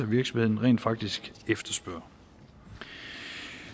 virksomhederne rent faktisk efterspørger